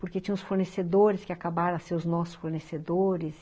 Porque tinha uns fornecedores que acabaram a ser os nossos fornecedores.